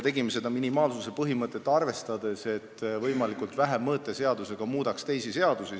Tegime seda minimaalsuse põhimõtet arvestades: et mõõteseadusega muudetaks võimalikult vähe teisi seadusi.